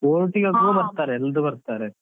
ಬರ್ತಾರೆ, ಎಲ್ಲರು ಬರ್ತಾರೆ.